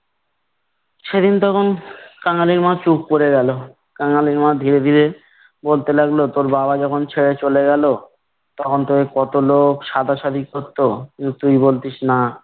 সেদিন তখন কাঙালির মা চুপ করে গেল। কাঙালির মা ধীরে ধীরে বলতে লাগল, তোর বাবা যখন ছেড়ে চলে গেলো তখনতো এই কতলোক সাধাসাধি করতো। কিন্তু তুই বলতিস না।